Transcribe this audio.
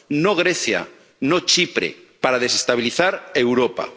no Grecia, no Chipre, para desestabilizar Europa.